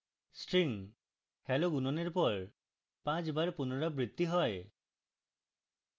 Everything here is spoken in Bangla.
string hello গুণনের পর 5 বার পুনরাবৃত্তি হয়